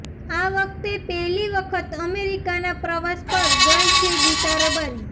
આ વખતે પહેલી વખત અમેરિકાના પ્રવાસ પર ગઈ છે ગીતા રબારી